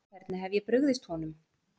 Hvernig hef ég brugðist honum?